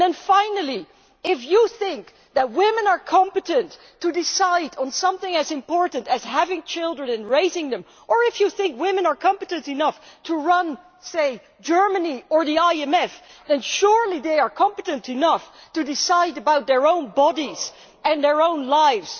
Finally, if you think that women are competent to decide on something as important as having children and raising them, or if you think women are competent enough to run, say, Germany or the IMF, then surely they are competent enough to decide about their own bodies and their own lives.